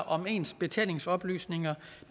om ens betalingsoplysninger